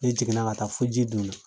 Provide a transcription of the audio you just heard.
Ne jiginna ka taa fo ji dun na.